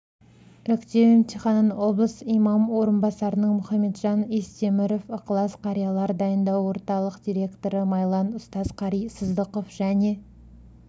іріктеу емтиханын облыс имам орынбасарының мұхамеджан естеміров ықылас қарилар дайындау орталық директоры майлан ұстаз-қари сыздықов және